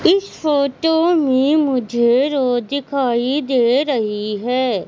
इस फोटो में मुझे रोड दिखाई दे रही है।